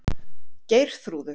Geirþrúður